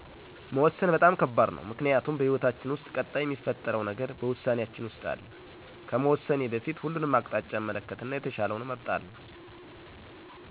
መወሰን በጣም ከባድ ነው ምክንያቱም በህይወታችን ውስጥ ቀጣይ ሚፈጠረው ነገር በውሳኔያችን ውስጥ አለ። ከመወሰኔ በፊት ሁሉንም አቅጣጫ እመለከትና የተሻለውን እመርጣለሁ።